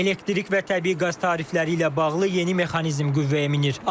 Elektrik və təbii qaz tarifləri ilə bağlı yeni mexanizm qüvvəyə minir.